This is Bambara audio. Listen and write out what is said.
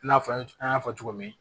I n'a fɔ an y'a fɔ cogo min